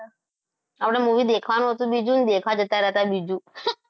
આપણે movie દેખવાનું હતું બીજું અને દેખા જતા રહ્યા બીજું